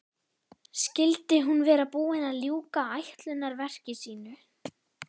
Skyldi hún vera búin að ljúka ætlunarverki sínu?